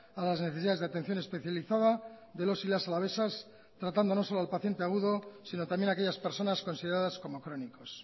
a las necesidades de atención especializada de los y las alavesas tratando no solo al paciente agudo sino también a aquellas personas consideradas como crónicos